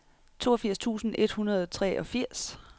toogfirs tusind et hundrede og treogfirs